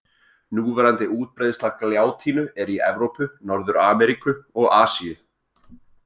Núverandi útbreiðsla gljátínu er í Evrópu, Norður-Ameríku og Asíu.